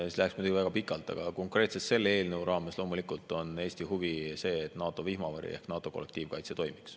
Siis läheks muidugi väga pikalt, aga konkreetselt selle eelnõu raames on loomulikult Eesti huvi see, et NATO vihmavari ehk NATO kollektiivkaitse toimiks.